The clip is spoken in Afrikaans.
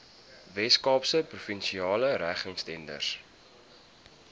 weskaapse provinsiale regeringstenders